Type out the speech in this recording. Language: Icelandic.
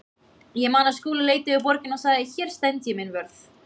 Ég man að Skúli leit yfir borgina og sagði: Hér stend ég minn vörð.